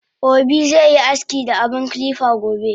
Obi ze aski da abun kilipa gobe